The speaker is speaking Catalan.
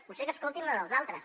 potser que escoltin la dels altres